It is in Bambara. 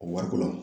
O wariko la